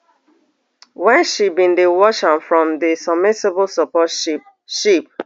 wen she bin dey watch am from di submersible support ship ship